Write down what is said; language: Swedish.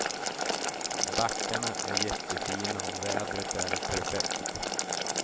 Backarna är jättefina och vädret är perfekt.